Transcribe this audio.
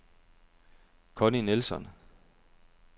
Conni Nilsson